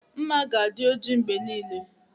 Nma ga adị ọjị mgbe niile.